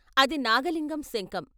అది నాగలింగం శంఖం.